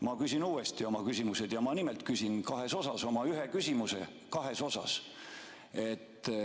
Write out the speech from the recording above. Ma küsin uuesti oma küsimused ja ma nimelt küsin kahes osas – oma ühe küsimuse kahes osas.